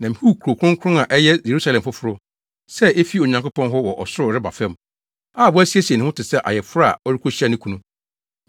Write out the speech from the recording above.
Na mihuu Kurow Kronkron a ɛyɛ Yerusalem foforo sɛ efi Onyankopɔn hɔ wɔ ɔsoro reba fam, a wasiesie ne ho te sɛ ayeforo a ɔrekohyia ne kunu.